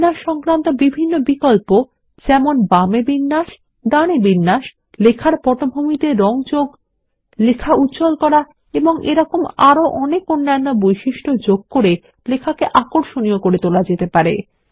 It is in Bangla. বিন্যাস সংক্রান্ত সব বিকল্প যেমন বামে বিন্যাস ডানে বিন্যাস লেখার পটভূমিতে রঙ যোগ লেখা উজ্জ্বল করা এবং আরো অনেক অন্যান্য বৈশিষ্ট্য যোগ করে লেখাকে আকর্ষণীয় করে তোলা যেতে পারে